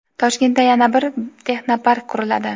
Toshkentda yana bir texnopark quriladi.